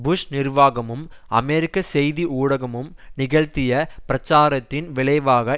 push நிர்வாகமும் அமெரிக்க செய்தி ஊடகமும் நிகழ்த்திய பிரச்சாரத்தின் விளைவாக